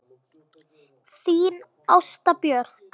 Þín Ásta Björk.